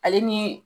Ale ni